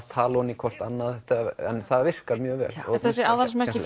tala ofan í hvort annað en það virkar mjög vel aðalsmerki